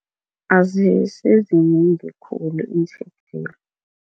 Azisizi khulu